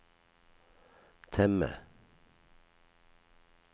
temme